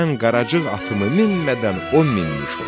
Mən Qaracıq atımı minmədən o minmiş olsun.